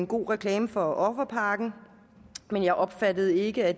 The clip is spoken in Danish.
god reklame for offerpakken men jeg opfattede ikke at